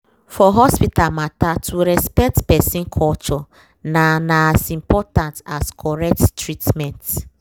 for hospital matter to respect person culture na na as important as correct treatment